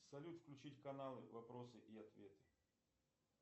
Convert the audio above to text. салют включить канал вопросы и ответы